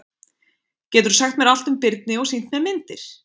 Geturðu sagt mér allt um birni og sýnt mér myndir?